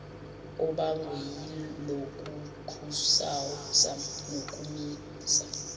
obangwe yilokukususa nokumisa